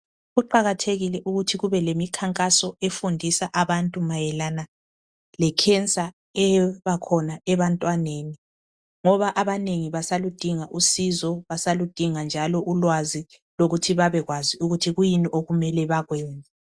Kuqakathekile ukuthi kubelemikhankaso efundisa abantu mayelana le cancer ebakhona ebantwaneni ngoba abanengi basaludinga usizo basaludinga njalo ulwazi lokuthi babekwazi ukuthi kuyini okumele bakwenze.